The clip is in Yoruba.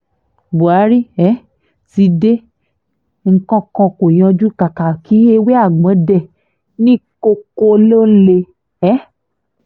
buhari um ti dé nǹkan kan kó yanjú kàkà kí ewé àgbọ̀n dé ní koko ló ń lé um